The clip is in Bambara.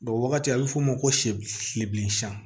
wagati a be f'o ma ko sibi kilen san